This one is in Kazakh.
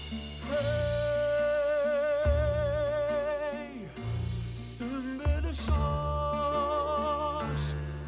е ей сүмбіл шаш